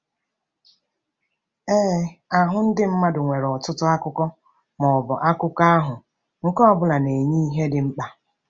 Ee, ahụ ndị mmadụ nwere ọtụtụ akụkụ, ma ọ bụ akụkụ ahụ, nke ọ bụla na-enye ihe dị mkpa.